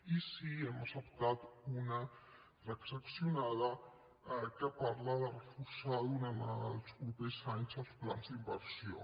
i sí que n’hem acceptat una transaccionada que parla de reforçar durant els propers anys els plans d’inversió